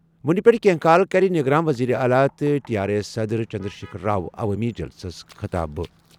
وۄنہِ پیٚٹھٕ کیٚنٛہہ کال کَرِ نگران ؤزیٖر اعلیٰ تہٕ ٹی آر ایٚس صدر چنٛدرٛشیکھر راؤ عوٲمی جلسَس خطابہٕ ۔